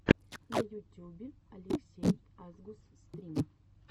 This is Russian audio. на ютюбе алексей асгус стрим